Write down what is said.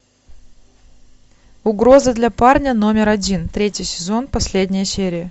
угроза для парня номер один третий сезон последняя серия